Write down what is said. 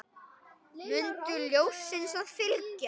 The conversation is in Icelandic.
Mundu ljósinu að fylgja.